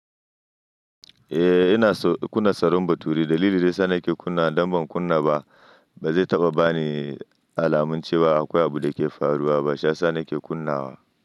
Eh ina kunna sarin baturi. Dalili daya sa nake kunna, damben kunna ba zai taɓa bani alamun cewa akwai abu da ke faruwa ba. Sha sa nake kunnawa.